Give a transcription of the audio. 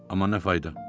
Amma nə fayda?